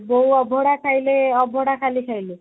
ବୋଉ ଅଭଡା ଖାଇଲେ ଅଭଡା ଖାଲି ଖାଇଲେ